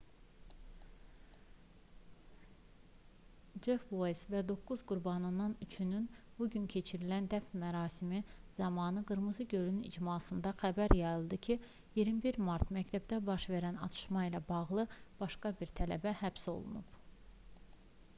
cef ueyz və doqquz qurbandan üçünün bugün keçirilən dəfn mərasimi zamanı qırmızı göl icmasında xəbər yayıldı ki 21 mart məktəbdə baş verən atışma ilə bağlı başqa bir tələbə həbs olunub